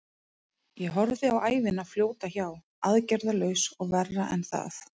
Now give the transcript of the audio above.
Ég horfði á ævina fljóta hjá, aðgerðarlaus og verra en það.